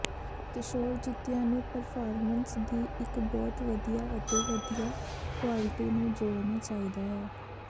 ਕਿਸ਼ੋਰ ਜੁੱਤੀਆਂ ਨੂੰ ਪਰਫਾਰਮੈਂਸ ਦੀ ਇੱਕ ਬਹੁਤ ਵਧੀਆ ਅਤੇ ਵਧੀਆ ਕੁਆਲਿਟੀ ਨੂੰ ਜੋੜਨਾ ਚਾਹੀਦਾ ਹੈ